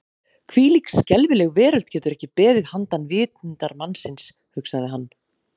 Hvílík skelfileg veröld getur ekki beðið handan vitundar mannsins, hugsaði hann.